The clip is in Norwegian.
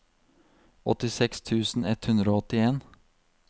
åttiseks tusen ett hundre og åttien